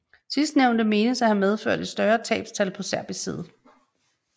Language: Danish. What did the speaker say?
Sidstnævnte menes at have medført et større tabstal på serbisk side